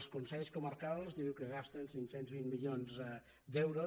els consells comarcals diu que gasten cinc cents i vint milions d’euros